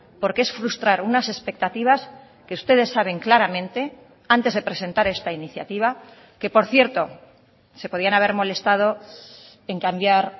porque es frustrar unas expectativas que ustedes saben claramente antes de presentar esta iniciativa que por cierto se podían haber molestado en cambiar